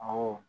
Awɔ